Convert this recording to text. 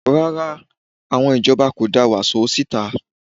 Rárá, àwọn ìjọba kò da wàsó síta